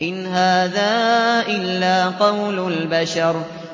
إِنْ هَٰذَا إِلَّا قَوْلُ الْبَشَرِ